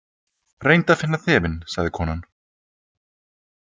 Reyndu að finna þefinn, sagði konan.